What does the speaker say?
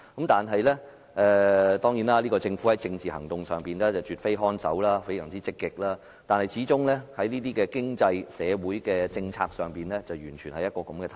當然，這個政府在政治行動上卻絕非看守，反而非常積極，但在經濟、社會政策方面則不然。